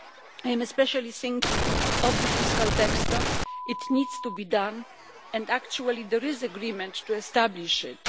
I am especially thinking of the fiscal backstop. It needs to be done, and actually there is agreement to establish it.